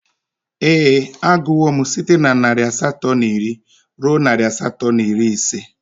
Ee, agụwo m site na narị asatọ na iri ruo narị asatọ na iri ise